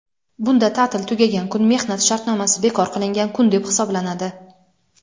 Bunda taʼtil tugagan kun mehnat shartnomasi bekor qilingan kun deb hisoblanadi.